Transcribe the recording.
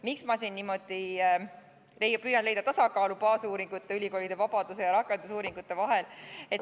Miks ma siin niimoodi püüan leida tasakaalu baasuuringute, ülikoolide vabaduse ja rakendusuuringute vahel?